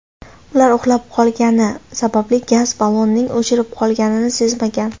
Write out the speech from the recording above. Ular uxlab qolgani sababli gaz ballonining o‘chib qolganini sezmagan.